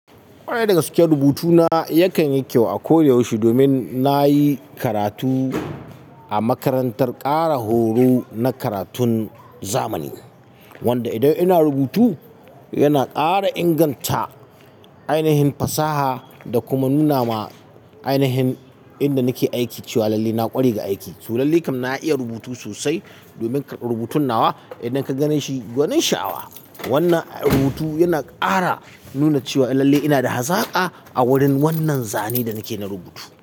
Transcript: Ƙwarai da gaske rubutuna yakan yi kyau a ko da yaushe domin na yi karatu a makarantar ƙara horo na karatun zamani, wanda idan ina rubutu yana ƙara inganta ainihin fasaha da kuma nuna ma ainihin inda nake aiki cewa lalle na ƙware ga aiki. To lallai kam na iya rubutu sosai domin rubutun nawa idan ka ganeshi gwanin sha'awa. Wannan rubutu yana ƙara nuna cewa lalle ina da hazaƙa a wurin wannan zane da nake na rubutu.